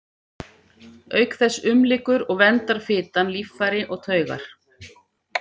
Auk þess umlykur og verndar fitan líffæri og taugar.